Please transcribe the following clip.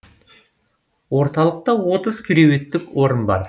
орталықта отыз кереуеттік орын бар